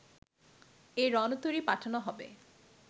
এ রণতরী পাঠানো হবে